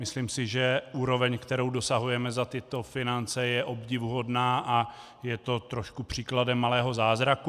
Myslím si, že úroveň, kterou dosahujeme za tyto finance, je obdivuhodná a je to trošku příkladem malého zázraku.